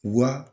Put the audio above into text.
Wa